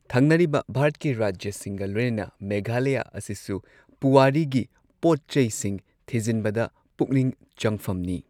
ꯊꯪꯅꯔꯤꯕ ꯚꯥꯔꯠꯀꯤ ꯔꯥꯖ꯭ꯌꯥꯁꯤꯡꯒ ꯂꯣꯏꯅꯅ ꯃꯦꯘꯥꯂꯌꯥ ꯑꯁꯤꯁꯨ ꯄꯨꯋꯥꯔꯤꯒꯤ ꯄꯣꯠꯆꯩꯁꯤꯡ ꯊꯤꯖꯤꯟꯕꯗ ꯄꯨꯛꯅꯤꯡ ꯆꯪꯐꯝꯅꯤ꯫